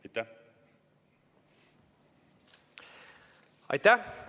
Aitäh!